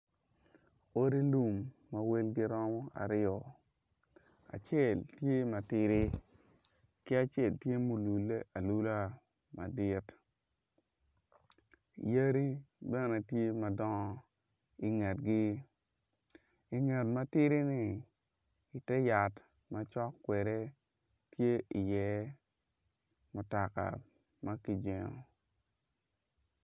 Odi lum ma girom aryo acel tye matidi ki acel tye ma olule alula madit yadi bene tye madongo ingetgi inget matidi-ni ite yat macok kwede tye iye mutoka ma kijengo.